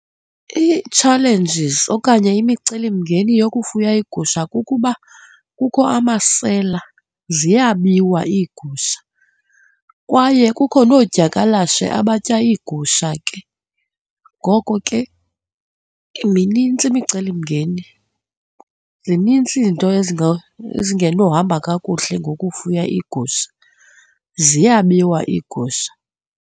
Ii-challenges okanye imicelimngeni yokufuya iigusha kukuba kukho amasela, ziyabiwa iigusha kwaye kukho noodyakalashe abatya iigusha ke. Ngoko ke minintsi imicelimngeni, zinintsi izinto ezingenohamba kakuhle ngokufuya iigusha, ziyabiwa iigusha.